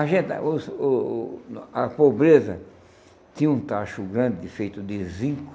A gente, os o o a pobreza tinha um tacho grande feito de zinco.